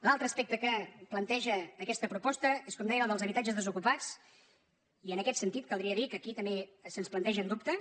l’altre aspecte que planteja aquesta propos·ta és com dèiem la dels habitatges desocupats i en aquest sentit caldria dir que aquí també se’ns plante·gen dubtes